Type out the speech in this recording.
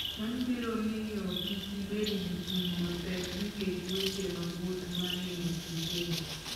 Mano biro miyo kik ibed gi ting' mapek nikech weche mag wuoth ma ne ok igeno.